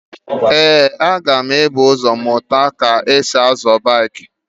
Ee, m ga-ebu ụzọ mụta ka esi-azọ breeki.